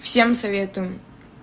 всем советую